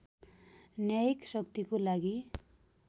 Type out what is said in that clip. न्यायिक शक्तिको लागि